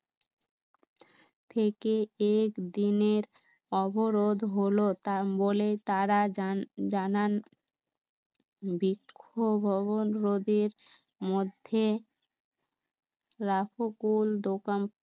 থেকে এক দিনের অবরোধ হলো তাম্বলে তাঁরা জানা অবরোধের মধ্যে রাখো কুল, দোকান